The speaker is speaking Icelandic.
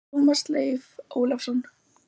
Tómas Leif Ólafsson!